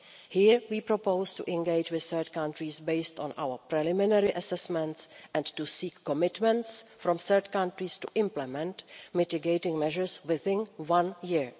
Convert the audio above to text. Here we proposed to engage with third countries on the basis of our preliminary assessments and to seek commitments from third countries to implement mitigating measures within one